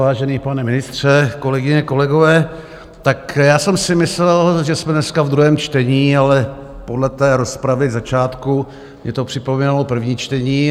Vážený pane ministře, kolegyně, kolegové, tak já jsem si myslel, že jsme dneska v druhém čtení, ale podle té rozpravy na začátku mně to připomínalo první čtení.